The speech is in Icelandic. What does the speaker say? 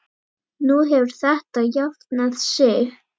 Nú hefur þetta jafnað sig.